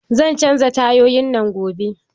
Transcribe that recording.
Zan canja tayoyin nan gobe